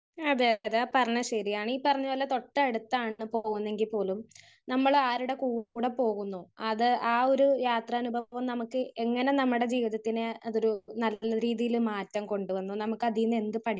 speaker 1 അതേ അതെ ആഹ് പറഞ്ഞേത് ശരിയാണ് ഈ പറഞ്ഞതി തൊട്ട അടുത്താണ് ഇപ്പൊ പോകുന്നെങ്കിൽ പോലും നമ്മള് ആരുടെ കൂടെ പോകുന്നു അത് ആഹ് ഒരു യാത്രാനുഭവം നമുക്ക് എങ്ങനെ നമ്മുടെ ജീവിതത്തിനെ അതൊരു നല്ല രീതിയിൽ മാറ്റം കൊണ്ടു വന്നു നമുക്കതീന്ന് എന്ത്